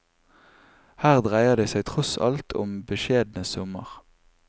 Her dreier det seg tross alt om beskjedne summer.